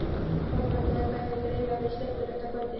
ÞÓRBERGUR: Þetta hefur greinilega verið skemmtilegasta kvöld.